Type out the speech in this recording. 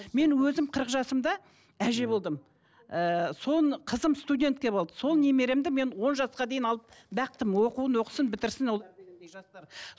мен өзім қырық жасымда әже болдым ыыы соны қызым болды сол немеремді мен он жасқа дейін алып бақтым оқуын оқысын бітірсін ол